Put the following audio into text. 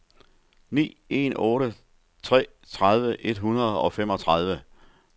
ni en otte tre tredive et hundrede og femogtredive